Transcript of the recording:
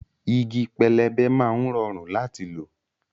Igi pẹlẹbẹ máa ń rọrùn láti lò